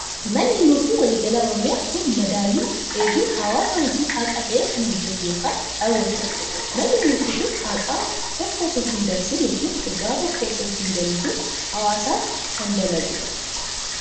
Manni murtii walii galaa oromiyaa kun madaalli eeguun hawaasaa hojii haqa tahe kan hojjetu ykn raawwatudha. manni murtii kun haqa tokko osoo hin dabsin ykn dhugaa tokko osoo hin jallisin hawaasaaf kan dalaguudha.